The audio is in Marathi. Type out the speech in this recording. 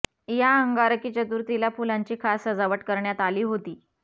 या अंगारकी चतुर्थीला फुलांची खास सजावट करण्यात आली होती